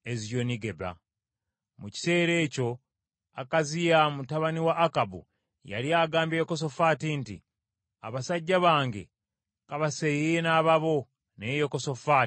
Mu kiseera ekyo Akaziya mutabani wa Akabu yali agambye Yekosafaati nti, “Abasajja bange ka baseeyeeye n’ababo,” naye Yekosafaati n’atakyagala.